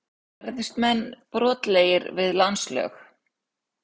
Gerðust menn brotlegir við landslög?